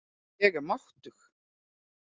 Ég er máttug.